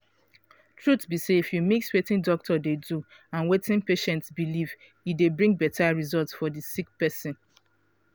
truth be say if you mix wetin doctor dey do and wetin patient believe e dey bring beta result for di sick person.